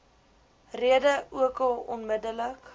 rede ookal onmiddellik